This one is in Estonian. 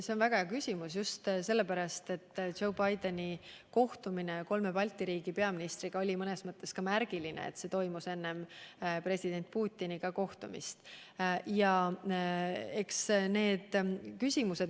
See on väga hea küsimus, just sellepärast, et Joe Bideni kohtumine kolme Balti riigi peaministriga oli mõnes mõttes märgiline, kuna toimus enne president Putiniga kohtumist.